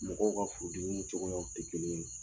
Mɔgɔw ka furudimiw cogoyaw tɛ kelen ye.